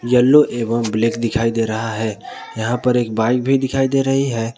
Yellow एवं black दिखाई दे रहा है यहां पर एक बाइक भी दिखाई दे रही है।